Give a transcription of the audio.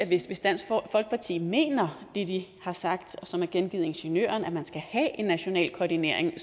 hvis dansk folkeparti mener det de har sagt og som er gengivet i ingeniøren altså at man skal have en national koordinering